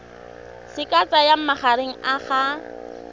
se ka tsayang magareng ga